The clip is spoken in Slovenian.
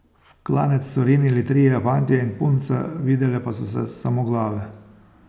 V klanec so rinili trije fantje in punca, videle pa so se samo glave.